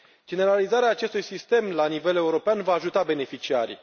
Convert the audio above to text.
Generalizarea acestui sistem la nivel european va ajuta beneficiarii.